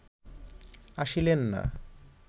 আসিলেন না